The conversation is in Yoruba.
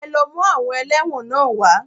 Ẹ lọ mú àwọn ẹlẹ́wọ̀n náà wá.